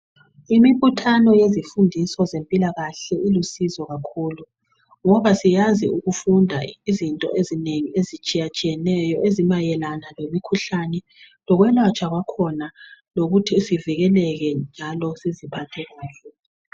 Imibuthano yezifundiso zempilakahle ilusizo kakhulu ngoba siyazi ukufunda izinto ezinengi ezitshiyatshiyeneyo ezimayelana lemikhuhlane lokwelatshwa kwakhona lokuthi sivikeleke njalo siziphathe kahle.